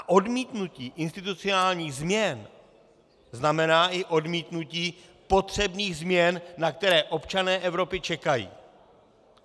A odmítnutí institucionálních změn znamená i odmítnutí potřebných změn, na které občané Evropy čekají.